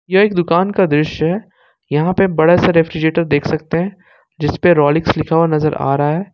यह एक दुकान का दृश्य है यहां पे बड़ा सा रेफ्रिजरेटर देख सकते हैं जिस पे रोलिक्स लिखा हुआ नजर आ रहा है।